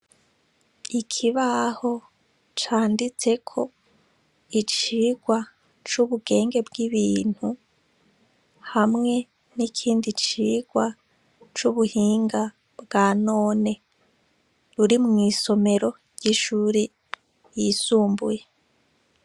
Ikibaho canditseko icigwa c'ubugenge bw'ibintu hawe n'ikindi cigwa c'ubuhinga bwa none ruri mw'isomero ry'ishure ryisumbuye.